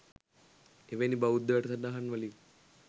එවැනි බෞද්ධ වැඩසටහන් වලින්